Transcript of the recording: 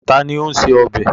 Ta ni ó ń se ọbẹ̀?